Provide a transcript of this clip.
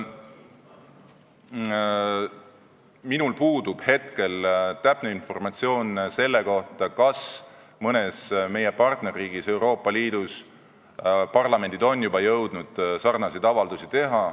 Minul puudub täpne informatsioon selle kohta, kas mõnes meie partnerriigis Euroopa Liidus parlament on juba jõudnud sarnaseid avaldusi teha.